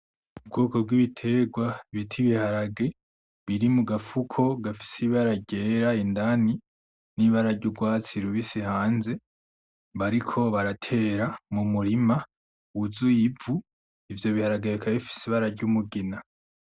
Ubwoko bw'ibitegwa bita ibiharage biri mugafuko gafise ibara ryera indani n'ibara ry'ugwatsi rubisi hanze bariko baratera mumurima wuzuye ivu ivyo biharage bikaba bifise ibara ry'umugina